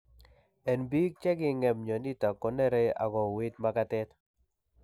En biik cheking'em myonitok konere ak kouit magatet